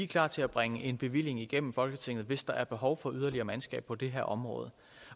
klar til at bringe en bevilling igennem folketinget hvis der er behov for yderligere mandskab på det her område